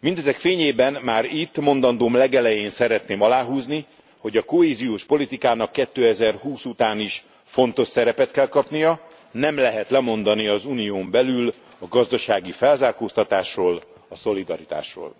Mindezek fényében már itt, mondandóm legelején szeretném aláhúzni, hogy a kohéziós politikának 2020 után is fontos szerepet kell kapnia, nem lehet lemondani az unión belül a gazdasági felzárkóztatásról, a szolidaritásról.